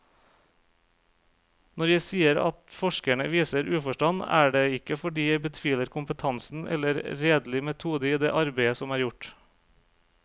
Når jeg sier at forskerne viser uforstand, er det ikke fordi jeg betviler kompetansen eller redelig metode i det arbeid som er gjort.